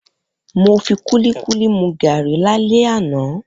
Mo fi kúlíkúlí mu gàárì lálé àná